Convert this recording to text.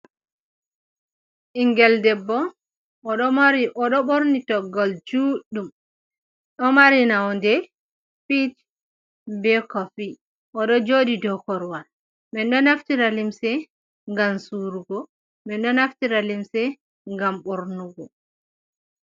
Ɓiingel ɗebbo: Oɗo borni toggol juɗɗum ɗo mari nonde pich be koffi oɗo jodi do korwal man ɗo naftira limse ngam surugo man ɗo naftira limse ngam bornu go.